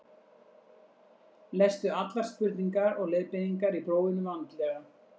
lestu allar spurningar og leiðbeiningar í prófinu vandlega